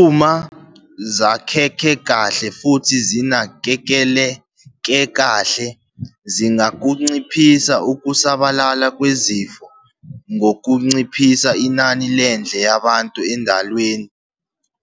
Uma zakheke kahle futhi zinakekeleka kahle zingakunciphisa ukusabalala kwezifo ngokunciphisa inani lendle yabantu endalweni